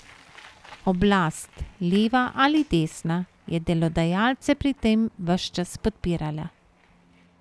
Oblast, leva ali desna, je delodajalce pri tem ves čas podpirala.